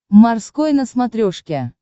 морской на смотрешке